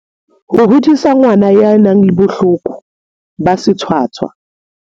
Ho hodisa ngwana ya nang le bohloko ba sethwathwa